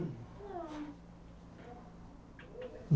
Não?